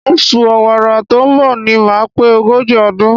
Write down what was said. Oṣù Ọ̀wàrà tó ń bọ̀ ni màá pé ogójì ọdún.